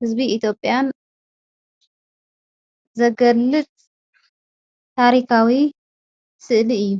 ሕዝቢ ኢቴጴያን ዘገልጥ ታሪካዊ ስእሊ እዩ።